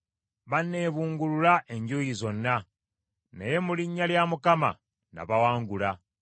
Banneebungulula enjuuyi zonna; naye mu linnya lya Mukama nabawangula.